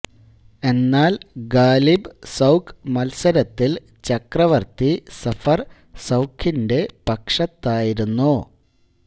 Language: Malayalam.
എന്നാൽ ഗാലിബ് സൌഖ് മൽസരത്തിൽ ചക്രവർത്തി സഫർ സൌഖിന്റെ പക്ഷത്തായിരുന്നു